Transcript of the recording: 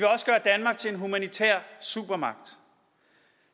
humanitær supermagt